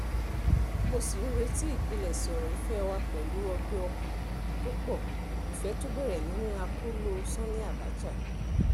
mo sì ń rántí ìpilẹ̀ṣẹ̀ ọ̀rọ̀ ìfẹ́ wa pẹ̀lú ọgbẹ́ ọkàn tó pọ̀ ìfẹ́ tó bẹ̀rẹ̀ nínú akóló sànnì abcha